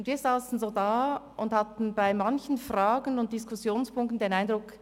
Wir sassen so da und hatten bei manchen Fragen und Diskussionspunkten den Eindruck: